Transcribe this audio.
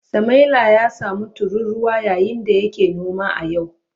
Samaila ya samu tururuwa yayin da yake noma a yau.